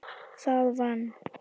Það vann